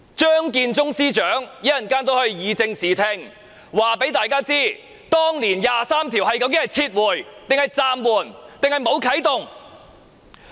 張建宗司長稍後亦可以正視聽，告訴大家當年"第二十三條"的法案究竟是撤回、暫緩，還是沒有啟動。